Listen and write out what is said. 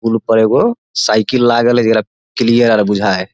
पूल पर एगो साइकिल लागल हेय जकरा क्लियर बुझाय हेय ।